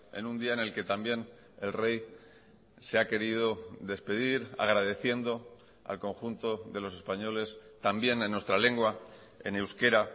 en un día en el que también el rey se ha querido despedir agradeciendo al conjunto de los españoles también en nuestra lengua en euskera